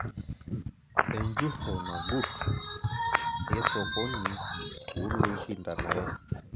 Enjurro nagut esokoni woloishindanare.